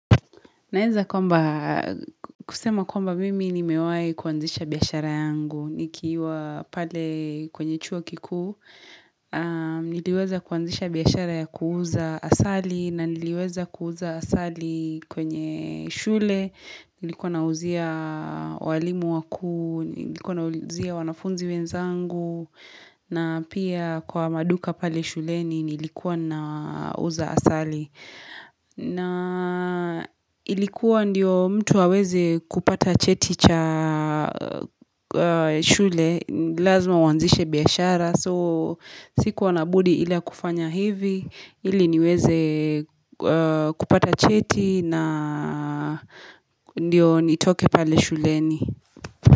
Naeza kambwa, kusema kambwa mimi nimewai kuanzisha biashara yangu. Nikiwa pale kwenye chuo kikuu, niliweza kuanzisha biashara ya kuuza asali, na niliweza kuuza asali kwenye shule, nilikuwa nauzia walimu wakuu, nilikuwa na uzia wanafunzi wenzangu, na pia kwa maduka pale shuleni nilikuwa nauza asali. Na ilikuwa ndio mtu aweze kupata cheti cha shule Lazima uanzishe biashara So sikuwanabudi ila kufanya hivi ili niweze kupata cheti na ndio nitoke pale shuleni.